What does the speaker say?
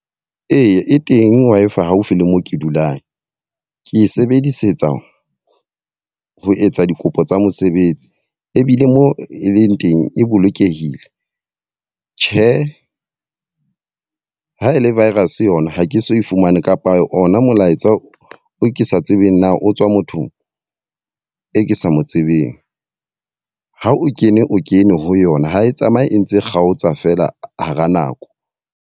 Eya e teng Wi-Fi haufi le mo ke dulang. Ke e sebedisetsa ho etsa dikopo tsa mosebetsi. Ebile mo e leng teng, e bolokehile. Tjhe ha e le virus yona ha ke so e fumane kapa ona molaetsa o ke sa tsebeng na o tswa mothong e ke sa mo tsebeng. Ha o kene o kene ho yona ha e tsamaye e ntse e kgaotsa fela hara nako.